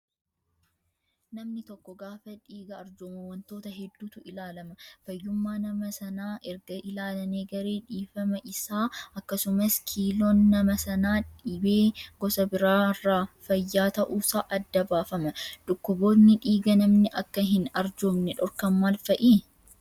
Namni tokko gaafa dhiiga arjoomu wantoota hedduutu ilaalama. Fayyummaa nama Sanaa erga ilaalanii garee dhiifama isaa akkasumas kiiloon nama Sanaa dhibee gosa biraarraa fayyaa ta'uusaa adda baafama. Dhukkuboonni dhiiga namni Akka hin arjoomne dhorkan maal fa'ii?